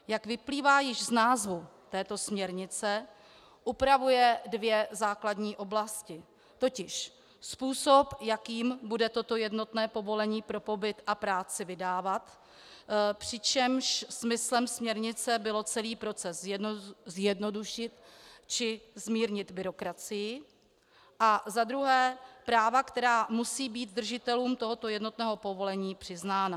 Jak vyplývá již z názvu této směrnice, upravuje dvě základní oblasti, totiž způsob, jakým bude toto jednotné povolení pro pobyt a práci vydávat, přičemž smyslem směrnice bylo celý proces zjednodušit či zmírnit byrokracii, a za druhé práva, která musí být držitelům tohoto jednotného povolení přiznána.